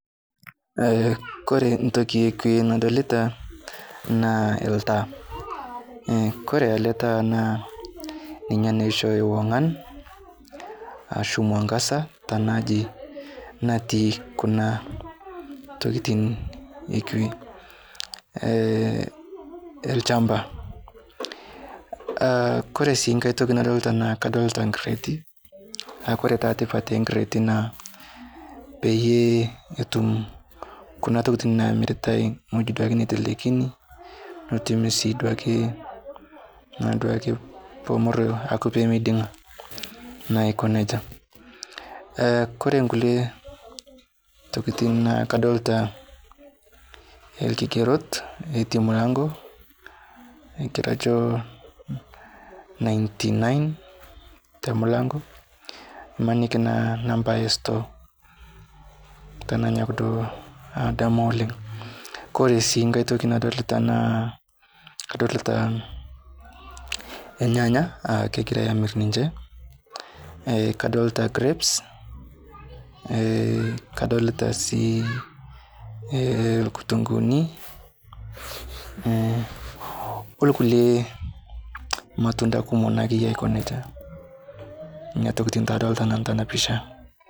Eh kore ntoki ekwe nadolita naa ltaa, eh kore ale taa naa ninye naa oishoyo ong'an ashu mwangaza tana aji natii kuna tokitin ekwe eh elchamba ah kore sii kaitoki nadolta naa kadolita nkireeti, naa kore taa tipat ekireeti naa paye etum kuna tokitin namiritae ng'oji duake neitelekini netum sii duake naa duake pemeroyo aaku pemeiding'a naa aiko neja. Eh kore nkule tokitin naa kadolita elkigerot otii mlango naigero ajo ninety nine temlango, imaniki naa nambi estoo tananyok duo adamu oleng'. Kore sii nkae toki nadolita naa kadolita lnyanya kegirai amir ninche eh kadolita grapes eh kadolita sii eh lkutunguni hh olkule lmatunda kumo naakeyie aiko neja nena tokitin taa adolita nanu tana pisha.